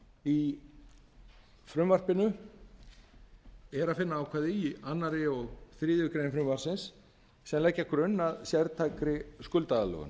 í frumvarpinu er að finna ákvæði í öðru og þriðju greinar frumvarpsins sem leggja grunn að sértækri skuldaaðlögun